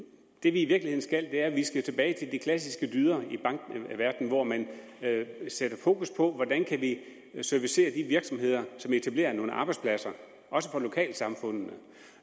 i virkeligheden skal er at vi at vi skal tilbage til de klassiske dyder i bankverdenen hvor man sætter fokus på hvordan kan vi servicere de virksomheder som etablerer nogle arbejdspladser også for lokalsamfundene